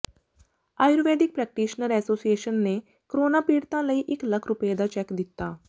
Ayurvedic practitioner association ਨੇ corona ਪੀੜਤਾਂ ਲਈ ਇਕ ਲੱਖ ਰੁਪਏ ਦਾ ਚੈੱਕ ਦਿਤਾ